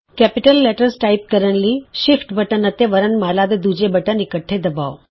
ਵੱਡੇ ਅੱਖਰ ਟਾਈਪ ਕਰਨ ਲਈ ਸ਼ਿਫਟ ਬਟਨ ਅਤੇ ਵਰਣਮਾਲਾ ਦੇ ਦੂਜੇ ਬਟਨ ਇਕੱਠੇ ਦਬਾਉ